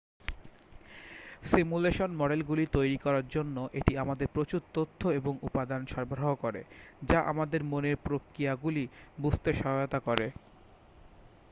simulation মডেলগুলি তৈরি করার জন্য এটি আমাদের প্রচুর তথ্য এবং উপাদান সরবরাহ করে যা আমাদের মনের প্রক্রিয়াগুলি বুঝতে সহায়তা করে